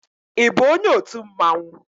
Ị bụ onye otu mmanwu?